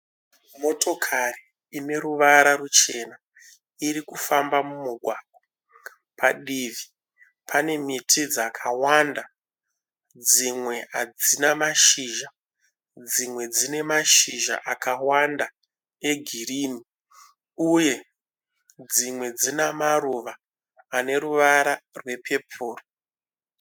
Motokari ine ruvara ruchena iri kufamba mumugwagwa padivi pane miti dzakawanda dzimwe hadzina mashizha dzimwe dzinamashizha akawanda egirini uye dzimwe dzinamaruva aneruvara rwepepuru